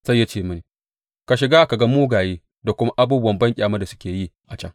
Sai ya ce mini, Shiga ka ga mugaye da kuma abubuwa banƙyamar da suke yi a can.